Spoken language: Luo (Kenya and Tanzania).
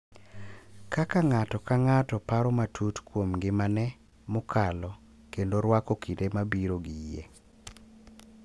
Kaka ng’ato ka ng’ato paro matut kuom ngimane mokalo kendo rwako kinde mabiro gi yie.